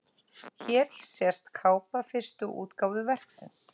Hér sést kápa fyrstu útgáfu verksins.